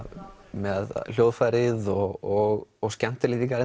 með hljóðfærið og og skemmtilegt líka